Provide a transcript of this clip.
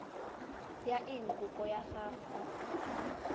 ya eng kopo ya gago